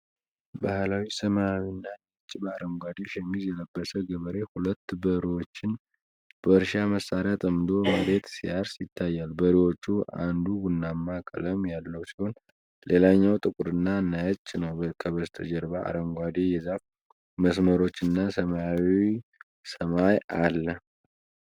ባህላዊ ሰማያዊና ነጭ በአሩንጋደ ሸሚዝ የለበሰ ገበሬ ሁለት በሬዎችን በእርሻ መሳሪያ ጠምዶ መሬት ሲያርስ ይታያል። በሬዎቹ አንዱ ቡናማ ቀንድ ያለው ሲሆን ሌላኛው ጥቁርና ነጭ ነው። ከበስተጀርባ አረንጓዴ የዛፍ መስመሮች እና ሰማያዊ ሰማይ አለ።